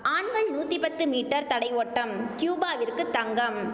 ஆண்கள் நூத்தி பத்து மீட்டர் தடை ஓட்டம் கியூபாவிற்கு தங்கம்